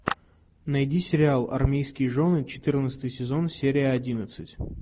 найди сериал армейские жены четырнадцатый сезон серия одиннадцать